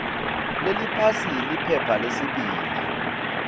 leliphasi liphepha lesibili